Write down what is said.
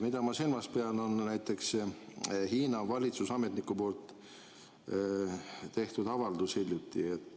Ma pean silmas näiteks Hiina valitsusametniku hiljuti tehtud avaldust.